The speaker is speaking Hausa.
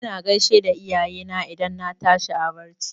Ina gaishe da iyayena idan na tashi a barci.